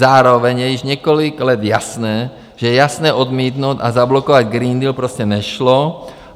Zároveň je již několik let jasné, že jasně odmítnout a zablokovat Green Deal prostě nešlo.